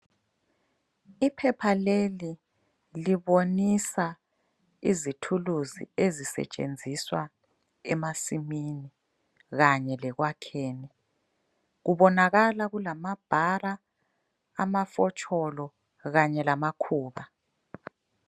Iphepha leli libonisa izithuluzi ezisetshenziswa emasimini, kanye lekwakheni. Kubonakala kulamabhara , amafotsholo, kanye lamakhuba.